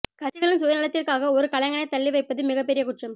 கட்சிகளின் சுயநலத்திற்காக ஒரு கலைஞனைத் தள்ளி வைப்பது மிகப் பெரிய குற்றம்